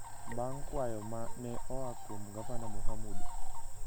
bang’ kwayo ma ne oa kuom Gavana Mohamud.